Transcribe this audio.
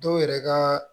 Dɔw yɛrɛ ka